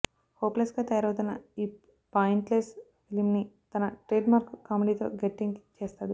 హోప్లెస్గా తయారవుతున్న ఈ పాయింట్లెస్ ఫిలింని తన ట్రేడ్ మార్కు కామెడీతో గట్టెక్కించేస్తాడు